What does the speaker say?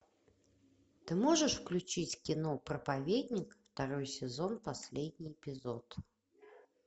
ты можешь включить кино проповедник второй сезон последний эпизод